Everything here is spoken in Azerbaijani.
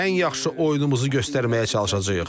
Ən yaxşı oyunumuzu göstərməyə çalışacağıq.